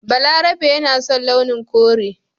Balarabe yana son launin kore